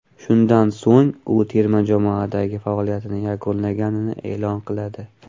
Shundan so‘ng u terma jamoadagi faoliyatini yakunlaganini e’lon qiladi.